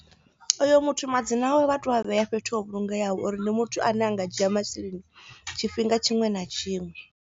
Oyo muthu madzina awe vha tea ua vhea fhethu ho vhulungeaho uri ndi muthu ane a nga dzhia masheleni tshifhinga tshiṅwe na tshiṅwe.